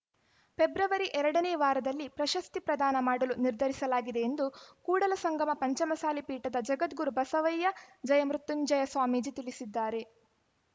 February ಎರಡನೇ ವಾರದಲ್ಲಿ ಪ್ರಶಸ್ತಿ ಪ್ರದಾನ ಮಾಡಲು ನಿರ್ಧರಿಸಲಾಗಿದೆ ಎಂದು ಕೂಡಲಸಂಗಮ ಪಂಚಮಸಾಲಿ ಪೀಠದ ಜಗದ್ಗುರು ಬಸವಯ್ಯ ಜಯಮೃತ್ಯುಂಜಯ ಸ್ವಾಮೀಜಿ ತಿಳಿಸಿದ್ದಾರೆ